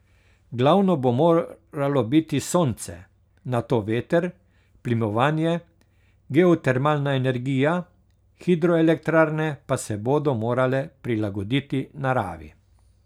Glavno bo moralo biti sonce, nato veter, plimovanje, geotermalna energija, hidroelektrarne pa se bodo morale prilagoditi naravi.